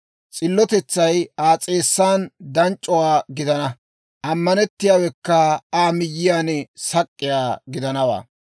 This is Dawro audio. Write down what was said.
S'illotetsay Aa s'eessaw danc'c'o gidanawaa; ammanettiyaawekka Aa miyyiyaw sak'k'iyaa gidanawaa.